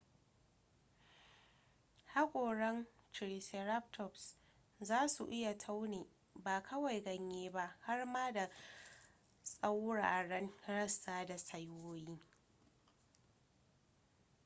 hakoran triceratops za su iya taune ba kawai ganye ba har ma da tsauraran rassa da saiwoyi